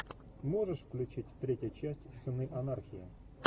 можешь включить третья часть сыны анархии